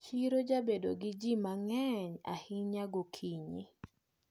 Chiro jabedo gi ji mang`eny ahinya gokinyi.